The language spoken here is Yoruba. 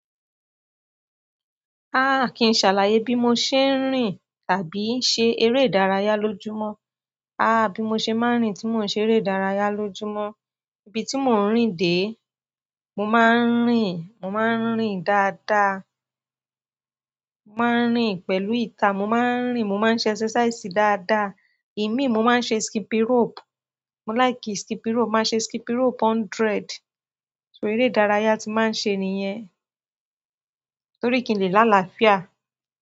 Ah, kìí ṣàlàyé bí mo ṣe ń rìn tàbí ṣe eré ìdárayá lójúmọ́. Ah, bí mo ṣe máa ń rìn tí mo ṣe eré ìdárayá lójúmọ́. Ibi tí mo ń rìn dé, mo máa ń rìn, mo máa ń rìn dáadáa. Mo máa ń rìn pẹ̀lú ìta. Mo máa ń rìn, mo máa ń ṣe exercise dáadáa. Èmi, mo máa ń ṣe skipping rope. Mo láìkì skipping rope. Mo máa ń ṣe skipping rope hundred. So eré ìdárayá tí màá ń ṣe nìyẹn. Nítorí kí n lè lá àlàáfíà.